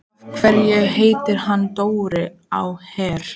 Af hverju heitir hann Dóri á Her?